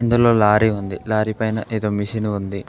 ఇందులో లారీ ఉంది లారీ పైన ఏదో మిషన్ ఉంది.